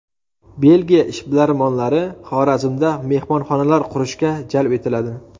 Belgiya ishbilarmonlari Xorazmda mehmonxonalar qurishga jalb etiladi.